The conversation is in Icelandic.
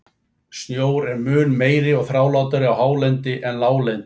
Snjór er mun meiri og þrálátari á hálendi en láglendi.